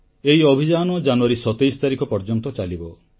ଏହି ଅଭିଯାନ ଜାନୁୟାରୀ 27 ତାରିଖ ପର୍ଯ୍ୟନ୍ତ ଚାଲିବ